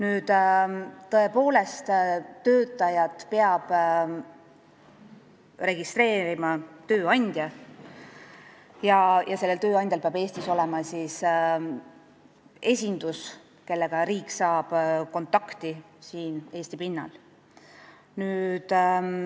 Edasi, töötajat peab registreerima tööandja ja sellel tööandjal peab Eestis olema esindus, millega riik saab siin Eesti pinnal kontakti.